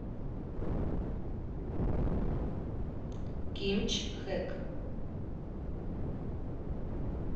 кимчхэк